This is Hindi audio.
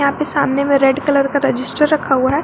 यहां पे सामने में रेड कलर का रजिस्टर रखा हुआ है।